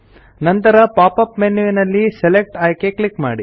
ನಂತರ pop up ಮೆನ್ಯುನಲ್ಲಿ select ಆಯ್ಕೆ ಕ್ಲಿಕ್ ಮಾಡಿ